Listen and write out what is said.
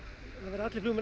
allir flugmenn